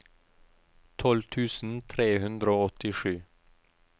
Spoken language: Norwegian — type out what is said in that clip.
tolv tusen tre hundre og åttisju